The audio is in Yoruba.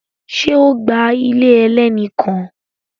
Ṣe o gba ilé ẹlẹ́ni kan